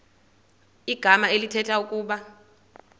igama elithetha ukuba